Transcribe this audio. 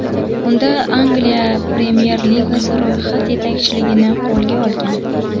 Unda Angliya Premyer Ligasi ro‘yxat yetakchiligini qo‘lga olgan.